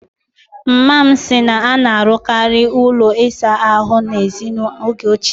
Mma m si na a na-arụkarị ụlọ ịsa ahụ n'èzí n'oge ochie